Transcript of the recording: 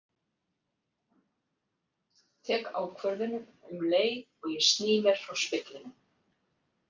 Tek ákvörðun um leið og ég sný mér frá speglinum.